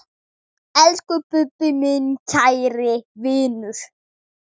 Elsku Bubbi, minn kæri vinur.